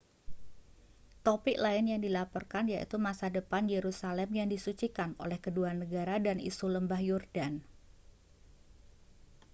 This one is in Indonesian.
topik lain yang dilaporkan yaitu masa depan yerusalem yang disucikan oleh kedua negara dan isu lembah yordan